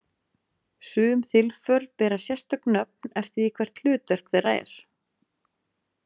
Sum þilför bera sérstök nöfn eftir því hvert hlutverk þeirra er.